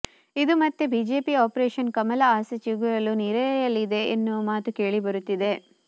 ಇದು ಮತ್ತೆ BJP operation Kamala ಆಸೆ ಚಿಗುರಲು ನೀರೆರೆಯಲಿದೆ ಎನ್ನುವ ಮಾತು ಕೇಳಿಬರುತ್ತಿದೆ